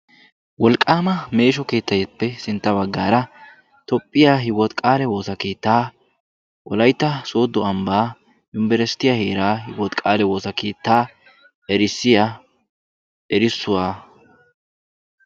wolqqama meeshsho keettappe sintta baggaara toophiya hiwoti qaale woossa keetta wolaytta soddo ambbaa yunbberssittiya heera hiwoote kaale woossa keetta erissiya erissuwaa.